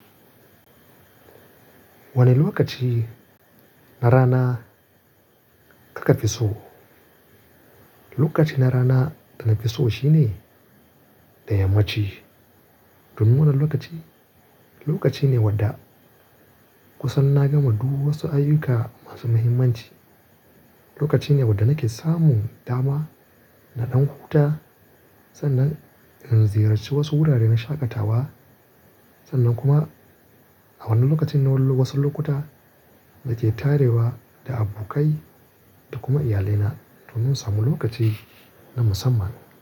Wane lokaci na rana karka fi so? Lokaci na rana da na fi so shine ta yammaci. Domin wannan lokaci, lokaci ne wadda kusan na gama du wasu ayyuka masu muhimmanci. Lokaci ne wadda nake samun dama da ɗan huta sannan in ziyarci wasu wurare na shakatawa. Sannan kuma a wannan lokacin na wulo wasu lokuta da ke tare da abokai da kuma iyalina domin samun lokaci na musamman.